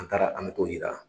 An taara an me t'o yira